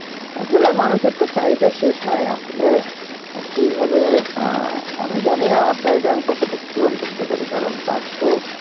আসলে মানুষের তো চাহিদা শেষ নাই আসলে অ্যাঁ সেইভাবে অ্যাঁ আমি জানিনা আমার চাহিদা আমি কতটুক পূরণ করতে পারি কারণ কাজ তো